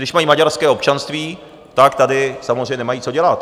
Když mají maďarské občanství, tak tady samozřejmě nemají co dělat.